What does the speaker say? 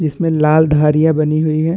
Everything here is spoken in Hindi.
इसमें लाल धारियां बनी हुई है।